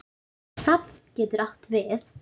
Safn getur átt við